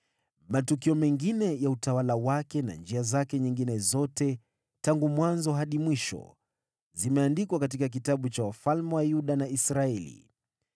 Matukio mengine ya utawala wake na njia zake nyingine zote, tangu mwanzo hadi mwisho, zimeandikwa katika kitabu cha wafalme wa Yuda na Israeli.